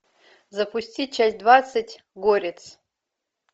запусти часть двадцать горец